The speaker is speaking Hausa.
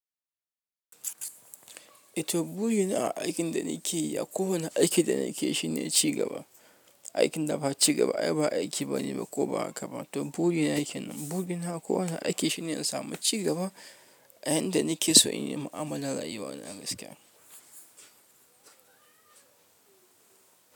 To burina a aikin da nakeyi, akowani aiki da nakeyi shine cigaba. Aikin da ba ci gaba ai ba aiki bane ba ko ba haka ba. To burina kenan burina a kowanne aiki shine in samu ci gaba a inda nake so in yi mu'amalar rayuwa na gaskiya.